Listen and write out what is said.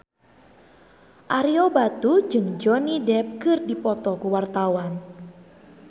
Ario Batu jeung Johnny Depp keur dipoto ku wartawan